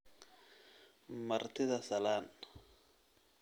Martida salaan